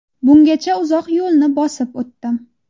Bungacha uzoq yo‘lni bosib o‘tdim.